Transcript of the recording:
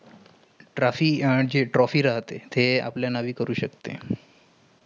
trophy trophy राहातेय तेय आपला नावी करू शकतेय.